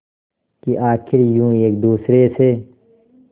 कि आखिर यूं एक दूसरे से